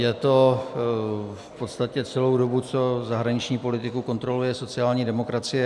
Je to v podstatě celou dobu, co zahraniční politiku kontroluje sociální demokracie.